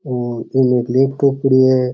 और ये लैपटॉप पड़ा है।